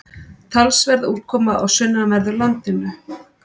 Talsverð úrkoma á sunnanverðu landinu